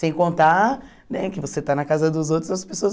Sem contar né que você está na casa dos outros, as pessoas...